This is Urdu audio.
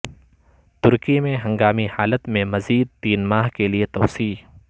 ترکی میں ہنگامی حالت میں مزید تین ماہ کے لیے توسیع